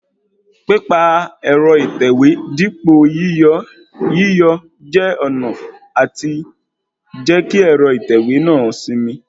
Pípa ẹ̀rọ ìtẹ̀wé dípo yíyọọ́ jẹ́ ọ̀nà àti jẹ́ kí ẹ̀rọ ìtẹ̀wé náà ó sinmi